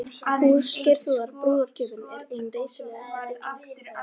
Hús Geirþrúðar, brúðargjöfin, er ein reisulegasta bygg